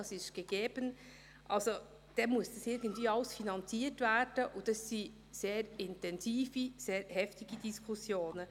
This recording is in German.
es ist gegeben –, dann muss dies alles irgendwie finanziert werden, und das sind sehr intensive und sehr heftige Diskussionen.